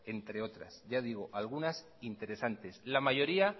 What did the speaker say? entre otras la mayoría